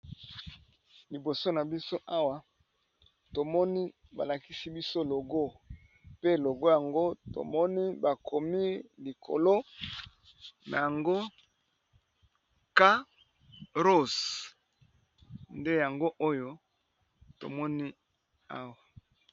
liboso na biso awa tomoni balakisi biso logo pe logo yango tomoni bakomi likolo na yango kaross nde yango oyo tomoni awa